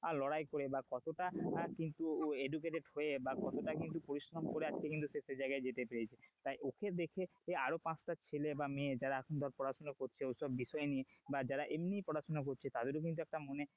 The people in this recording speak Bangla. আর লড়াই করে বা কতটা কিন্তু educated হয়ে বা কতটা কিন্তু পরিশ্রম করে একটা কিন্তু সে সেই জায়গায় যেতে পেরেছে তাই ওকে দেখে আরো পাঁচটা ছেলে বা মেয়ে যারা এখন ধর পড়াশোনা করছে ঐসব বিষয় নিয়ে বা যারা এমনি পড়াশোনা করছে তাদেরও কিন্তু একটা মনে,